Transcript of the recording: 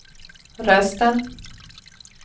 rösten